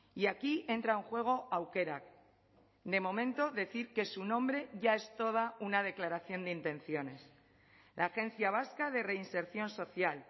y aquí entra en juego aukerak de momento decir que su nombre ya es toda una declaración de intenciones la agencia vasca de reinserción social